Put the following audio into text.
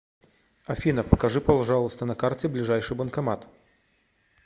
афина покажи пожалуйста на карте ближайший банкомат